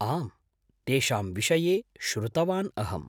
आम्, तेषां विषये श्रुतवान् अहम्।